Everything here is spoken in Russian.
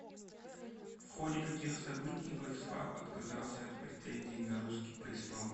в ходе каких событий владислав отказался от претензий на русский престол